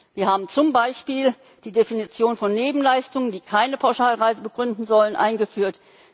Wir haben zum Beispiel die Definition von Nebenleistungen, die keine Pauschalreise begründen sollen, eingeführt.